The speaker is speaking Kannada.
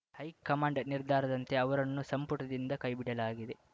ಹೈಕಮಾಂಡ್‌ ನಿರ್ಧಾರದಂತೆ ಅವರನ್ನು ಸಂಪುಟದಿಂದ ಕೈಬಿಡಲಾಗಿದೆ